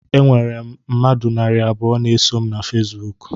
Enwere m mmadụ narị abụọ na-eso m na Fesibuku